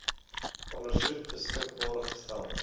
ondersoek beskikbaar gestel